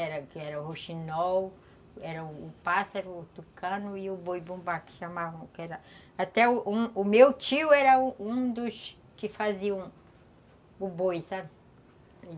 Era, que era o rouxinol, era o pássaro, o tucano e o boi-bumbá, que chamavam... que eram... Até o meu tio era um um dos que faziam o boi, sabe?